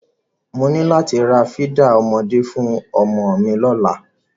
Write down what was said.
Mo ní láti ra fídà ọmọdé fún ọmọ mi lọ́la.